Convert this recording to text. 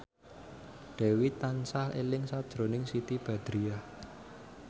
Dewi tansah eling sakjroning Siti Badriah